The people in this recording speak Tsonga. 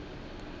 nkarhi wa vana